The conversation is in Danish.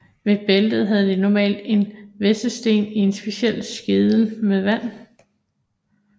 Ved bæltet havde de normalt en hvæssesten i en speciel skede med vand